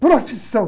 Profissão?